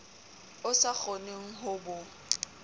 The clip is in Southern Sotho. o sa kgoneng ho bo